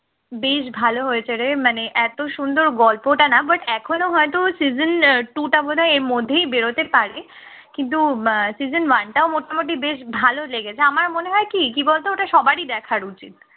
বেশ ভালো হয়েছে রে মানে এত সুন্দর গল্পটা না but এখনো হয়তো season two টা বোধহয় এর মধ্যে বেরোতে পারে। কিন্তু season one টাও মোটামুটি বেশ ভালো লেগেছে আমার মনে হয় কি কি বলতো ওটা সবারই দেখা উচিত